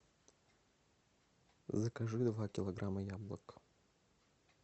закажи два килограмма яблок